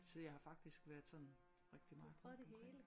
Så jeg har faktisk været så rigtig meget omkring